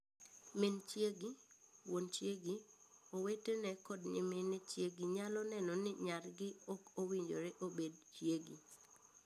Min chiegi, wuon chiegi, owetene kod nyimine chiegi nyalo neno ni nyargi ok owinjore obed chiegi.